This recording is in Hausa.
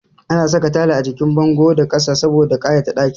Ana saka tayal a jikin bango da ƙasa saboda ƙayata ɗakin